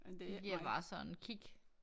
Det giver bare sådan kick